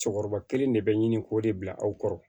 Cɛkɔrɔba kelen de bɛ ɲini k'o de bila aw kɔrɔ